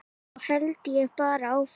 Þá held ég bara áfram.